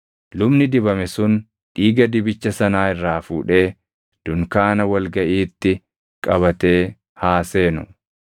Lubni dibame sun dhiiga dibicha sanaa irraa fuudhee dunkaana wal gaʼiitti qabatee haa seenu.